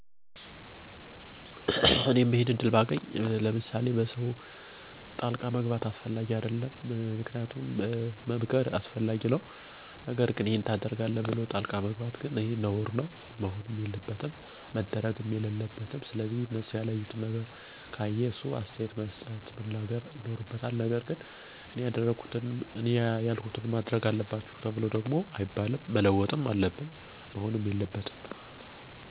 እኔ ይሄንን እድል ባገኝ በዋናነት መለወጥ ምፈልገው ሰዎች በሌሎች ሰዎች ህይወት ጣልቃ ገብተው አስተያየት ወይም አመለካከታቸውን እንዳያራምዱ ነው። ምክንያቱም ማንም ሚኖረው የራሱን ህይወት እስከሆነ ድረስ የእነዛን ወይም የህይወቱ ባለቤት ለሆኑት ሰዎች ዉሳኔዉን መተው ይኖርብናል። የእውነትም ደግሞ ስለ እነርሱ የምንጨነቅ እና የሚያሳስበን ከሆነም በተረጋጋ ሁኔታ ሁነን ሀሳባችንን ማራመድ ይኖርብናል። ነገር ግን በማይመለከተን ሁሉ ነገር መግባትን በግሌ የምቃወመው እና ለዉጥ እንዲመጣ የማደርገው ነገር ነበር።